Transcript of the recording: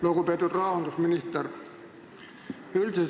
Lugupeetud rahandusminister!